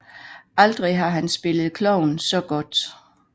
Aldrig har han spillet klovn så godt